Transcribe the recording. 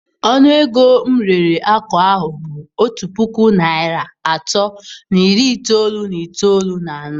Ọnụ ego m rere ákwà ahụ bụ otu puku naịra atọ na iri itoolu na itoolu na anọ.